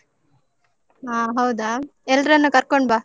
ಹ ಹೌದಾ? ಎಲ್ರನ್ನು ಕರ್ಕೊಂಡ್ ಬಾ.